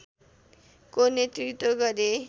को नेतृत्व गरे